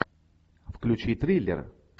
включи триллер